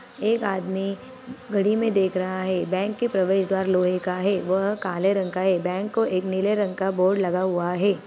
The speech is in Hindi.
एक आदमी घड़ी में देख रहा है बैंक के प्रवेश द्वार लोहे का है वह काले रंग का है बैंक को एक नीले रंग का बोर्ड लगा हुआ है।